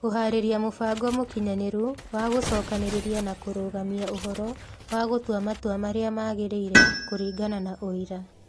Kũhaarĩria mũbango mũkinyanĩru wa gũcokanĩrĩria na kũrũgamia ũhoro, wa gũtua matua marĩa magĩrĩire kũringana na ũira.